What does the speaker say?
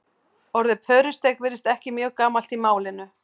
orðið pörusteik virðist ekki mjög gamalt í málinu